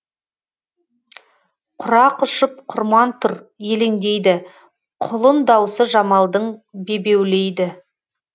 құрақ ұшып құрман тұр елеңдейді құлын даусы жамалдың бебеулейді